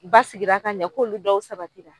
Basigira ka ɲɛ k'olu dɔw sabati la